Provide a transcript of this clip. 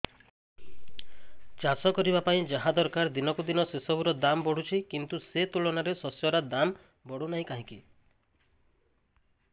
ଚାଷ କରିବା ପାଇଁ ଯାହା ଦରକାର ଦିନକୁ ଦିନ ସେସବୁ ର ଦାମ୍ ବଢୁଛି କିନ୍ତୁ ସେ ତୁଳନାରେ ଶସ୍ୟର ଦାମ୍ ବଢୁନାହିଁ କାହିଁକି